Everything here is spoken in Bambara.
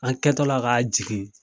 An kɛtɔ la k'a jigin.